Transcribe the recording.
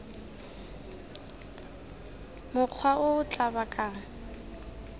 mokgwa o o tla bakang